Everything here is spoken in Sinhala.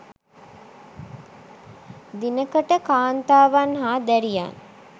දිනකට කාන්තාවන් හා දැරියන්